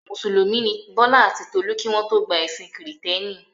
Mùsùlùmí ni Bọ́lá àti Tolú kí wọ́n tó gba ẹ̀sìn Kìrìtẹ́ẹ́nì.